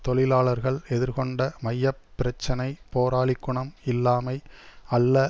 தொழிலாளர்கள் எதிர்கொண்ட மைய பிரச்சினை போராளிக்குணம் இல்லாமை அல்ல